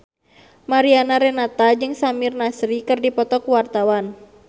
Mariana Renata jeung Samir Nasri keur dipoto ku wartawan